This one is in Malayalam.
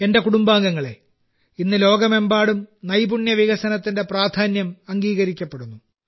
എന്റെ കുടുംബാംഗങ്ങളെ ഇന്ന് ലോകമെമ്പാടും നൈപുണ്യ വികസനത്തിന്റെ പ്രാധാന്യം അംഗീകരിക്കപ്പെടുന്നു